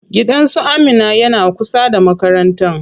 Gidan su Amina yana kusa da makarantan.